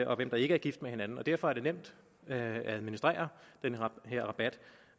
og hvem der ikke er gift med hinanden og derfor er det nemt at administrere den her rabat